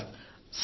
ఇంతే సార్